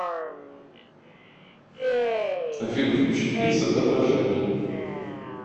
афина включить пицца отражение